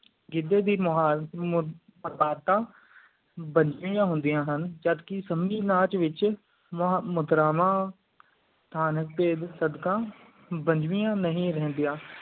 ਗਿੱਦਯ ਦੀ ਮੁਹਾਰ ਬਣਿਆ ਹੁੰਦੀਆਂ ਹਨ ਜਦ ਕ ਸੰਮੀ ਨਾਚ ਵਿਚ ਮਾਤਰਾਵਾਂ ਥਾਨਪਾਇਜ ਸਦਕਾ ਬਣਿਆ ਨਹੀਂ ਰਹਿੰਦੀਆਂ